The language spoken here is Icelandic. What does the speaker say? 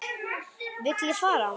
Vil ég fara?